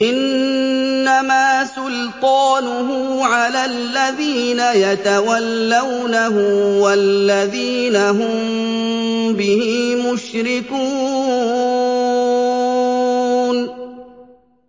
إِنَّمَا سُلْطَانُهُ عَلَى الَّذِينَ يَتَوَلَّوْنَهُ وَالَّذِينَ هُم بِهِ مُشْرِكُونَ